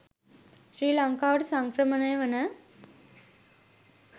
ශ්‍රී ලංකාවට සංක්‍රමණය වන